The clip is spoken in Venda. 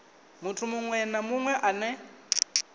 muthu munwe na munwe ane